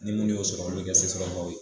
Ni munnu y'o sɔrɔ olu be kɛ sesɔrɔbagaw ye